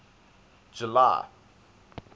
july